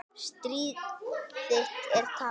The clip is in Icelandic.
Stríð þitt er tapað.